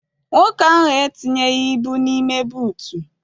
Nwoke anyị entinyeghi ibu n'ime buutu.